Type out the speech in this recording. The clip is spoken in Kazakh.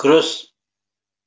кросс